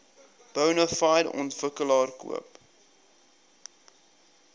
bonafide ontwikkelaar koop